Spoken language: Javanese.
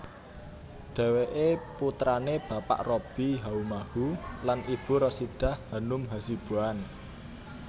Dheweke putrane Bapak Robby Haumahu lan Ibu Rasidah Hanum Hasibuan